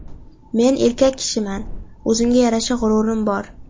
Men erkak kishiman, o‘zimga yarasha g‘ururim bor.